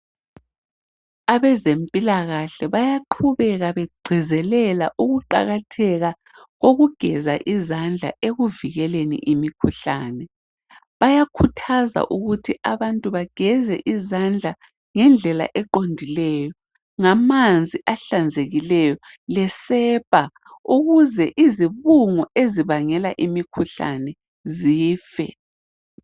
Abezempilakahle bayaqhubeka begcizelela ukuqakatheka kokugeza izandla ekuvikeleni imkhuhlane bayakhuthaza ukuthi abantu baqhubeke begeza izandla ngendlela ehlanzekileyo lamanzi ahlanzekileyo lesepa ukuze izibungu ezibangela umkhuhlane zife